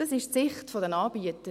Das ist die Sicht der Anbieter.